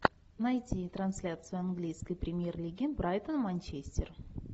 найти трансляцию английской премьер лиги брайтон манчестер